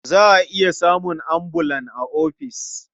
Za a iya samun ambulan a ofis.